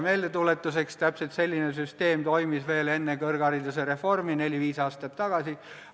Meeldetuletuseks: täpselt selline süsteem toimis veel enne kõrgharidusreformi, neli-viis aastat tagasi.